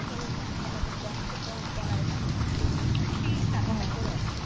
সরল মানুষরা তাদের বংশ পরম্পরায় এই কৃষি কাজটা করে আসছে।